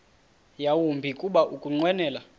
yawumbi kuba ukunqwenela